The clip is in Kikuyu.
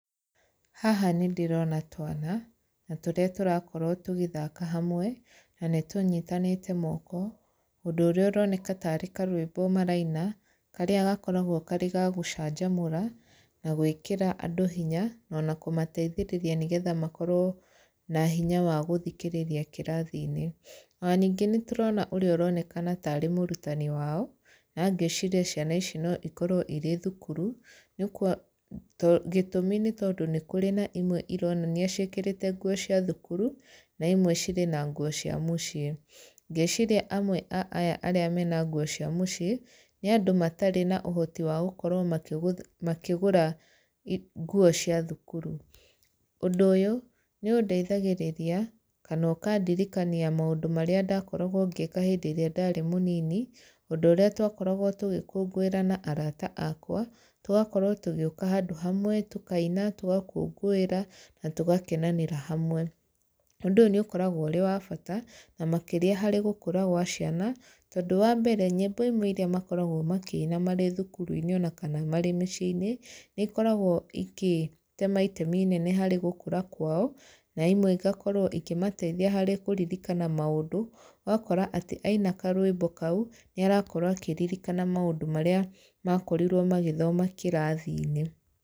Haha nĩ ndĩrona twana, na tũrĩa tũrakorwo tũgĩthaka hamwe, na nĩ tũnyitanĩte moko ũndũ ũrĩa ũroneka tarĩ karwĩmbo maraina, karĩa gakoragwo karĩ ga gũcanjamũra, na gwĩkĩra andũ hinya na ona kũmateithĩrĩria nĩgetha makorwo na hinya wa gũthikĩrĩria kĩrathi-inĩ. Ona ningĩ nĩ tũrona ũrĩa ũronekana tarĩ mũrutani wao, na ngĩciria ciana ici no ikorwo irĩ thukuru, nĩ gĩtũmi nĩ tondũ nĩ kũrĩ na imwe ironania ciĩkĩrĩte nguo cia thukuru, na imwe cirĩ na nguo cia mũciĩ. Ngeciria amwe a aya arĩa mena nguo cia mũciĩ, nĩa andũ matarĩ na ũhoti wa gũkorwo makĩgũra nguo cia thukuru. Ũndũ ũyũ, nĩ ũndeithagĩrĩria, kana ũkandirikania maũndũ marĩa ndakoragwo ngĩka hĩndĩ ĩrĩa ndarĩ mũnini, ũndũ ũrĩa tũgĩkũngũĩra na araata akwa, tũgakorwo tũgĩũka handũ hamwe, tũkaina, tũgakũngũĩra, na tũgakenanĩra hamwe. Ũndũ ũyũ nĩ ũkoragwo ũrĩ wa bata, na makĩria harĩ gũkũra gwa ciana, tondũ wa mbere, nyĩmbo imwe irĩa makoragwo makĩina marĩ thukuru-inĩ ona kana marĩ mĩciĩ-inĩ, nĩ ikoragwo ikĩtema itemi inene harĩ gũkũra kwao, na imwe igakorwo ikĩmateithia harĩ kũririkana maũndũ. Ũgakora atĩ, aina karwĩmbo kau, nĩ arakorwo akĩririkana maũndũ marĩa makorirwo magĩthoma kĩrathi-inĩ.